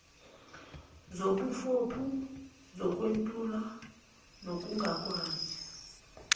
zobuphofu zokwentula nokungakwazi